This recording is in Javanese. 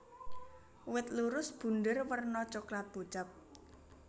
Wit lurus bunder werna coklat pucet